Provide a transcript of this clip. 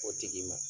O tigi ma